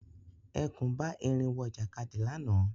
Ẹkùn bá erin wọ ìjàkadì lànà